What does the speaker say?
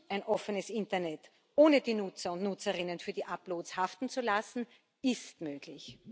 ein offenes Internet, ohne die Nutzer und Nutzerinnen für die Uploads haften zu lassen, ist möglich.